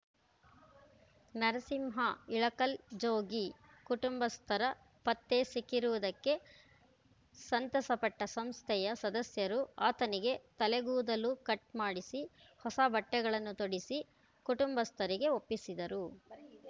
ನರಸಿಂಹ ಇಳಕಲ್‌ ಜೋಗಿ ಕುಟುಂಬಸ್ಥರ ಪತ್ತೆ ಸಿಕ್ಕಿರುವುದಕ್ಕೆ ಸಂತಸಪಟ್ಟಸಂಸ್ಥೆಯ ಸದಸ್ಯರು ಆತನಿಗೆ ತಲೆಗೂದಲು ಕಟ್‌ ಮಾಡಿಸಿ ಹೊಸ ಬಟ್ಟೆಗಳನ್ನು ತೊಡಿಸಿ ಕುಟುಂಬಸ್ಥರಿಗೆ ಒಪ್ಪಿಸಿದರು